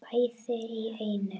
Bæði í einu.